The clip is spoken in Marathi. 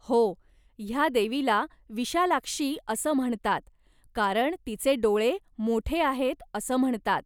हो, ह्या देवीला विशालाक्षी असं म्हणतात कारण तिचे डोळे मोठे आहेत असं म्हणतात.